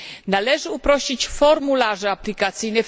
Należy uprościć formularze aplikacyjne.